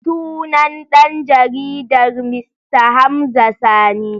Sunan dan jaridar Mista Hamza Sani.